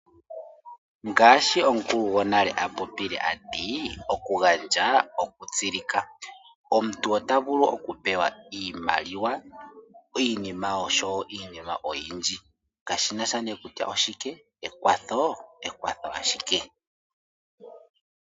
Ngashi omukulu gonale apopile atii oku gandja oku tsilika. Omuntu ota vulu oku pewa iimaliwa, iinima oshowo iinima oyindji. Kashinasha nee kutya oshike, ekwathoo, ekwatho ashike.